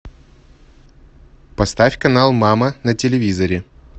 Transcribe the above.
поставь канал мама на телевизоре